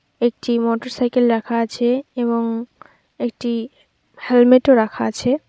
একটি মোটরসাইকেল রাখা আছে এবং একটি হেলমেট ও রাখা আছে।